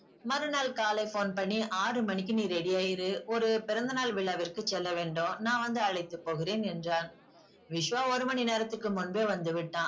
மறு நாள் காலை phone பண்ணி ஆறு மணிக்கு நீ ready யா இரு ஒரு பிறந்தநாள் விழாவிற்கு செல்ல வேண்டும். நான் வந்து அழைத்து போகிறேன் என்றான். விஸ்வா ஒரு மணி நேரத்துக்கு முன்பே வந்து விட்டான்.